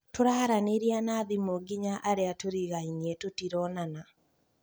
Tũraranĩria na thimũ nginya arĩa tũrigainie tũtironana